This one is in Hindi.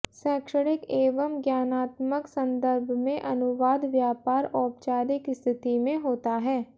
शैक्षणिक एवं ज्ञानात्मक सन्दर्भ में अनुवाद व्यापार औपचारिक स्थिति में होता है